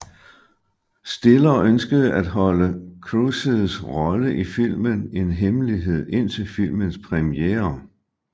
Stiller ønskede at holde Cruises rolle i filmen en hemmelighed indtil filmens premiere